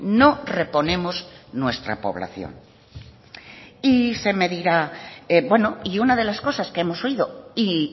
no reponemos nuestra población y se me dirá bueno y una de las cosas que hemos oído y